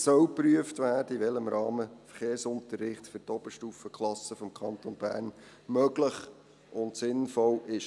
Es soll geprüft werden, in welchem Rahmen Verkehrsunterricht für die Oberstufenklassen im Kanton Bern möglich und sinnvoll ist.